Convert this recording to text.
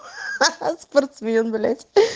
хахаха спортсмен